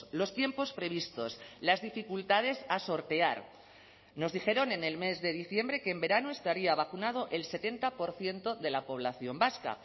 los tiempos previstos las dificultades a sortear nos dijeron en el mes de diciembre que en verano estaría vacunado el setenta por ciento de la población vasca